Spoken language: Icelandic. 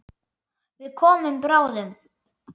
Við komum bráðum.